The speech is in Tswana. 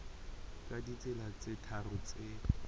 ka ditsela tse tharo tse